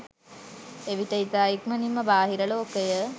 එවිට ඉතා ඉක්මනින්ම බාහිර ලෝකය